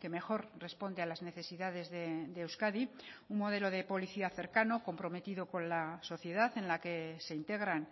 que mejor responde a las necesidades de euskadi un modelo de policía cercano comprometido con la sociedad en la que se integran